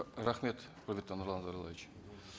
рахмет құрметті нұрлан зайроллаевич